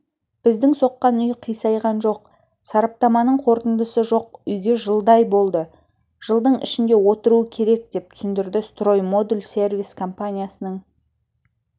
біздің соққан үй қисайған жоқ сараптаманың қортындысы жоқ үйге жылдай болды жылдың ішінде отыруы керек деп түсіндірді строй модуль сервис компаниясының